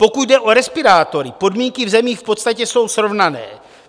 Pokud jde o respirátory, podmínky v zemích v podstatě jsou srovnané.